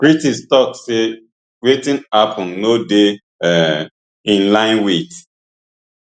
critics tok say wetin happun no dey um in line wit